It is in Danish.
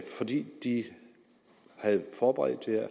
fordi de havde forberedt det